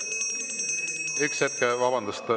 Üks hetk.